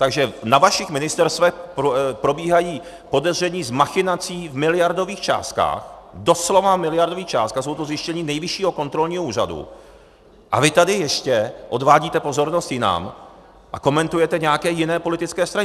Takže na vašich ministerstvech probíhají podezření z machinací v miliardových částkách, doslova miliardových částkách, jsou to zjištění Nejvyššího kontrolního úřadu, a vy tady ještě odvádíte pozornost jinam a komentujete nějaké jiné politické strany.